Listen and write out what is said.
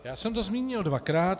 Já jsem to zmínil dvakrát.